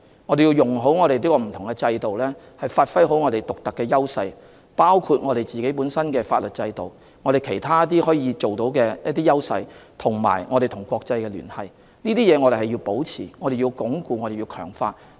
我們需要運用所擁有的不同制度，發揮我們的獨特優勢，包括我們擁有的法律制度、其他方面的優勢，以及我們和國際之間的聯繫，這些是我們要保持、鞏固和強化的。